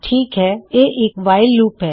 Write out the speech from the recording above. ਠੀਕ ਹੈ ਇਹ ਇੱਕ ਵਾਇਲ ਲੂਪ ਹੈ